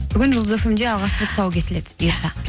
бүгін жұлдыз фм де алғаш рет тұсауы кесіледі бұйырса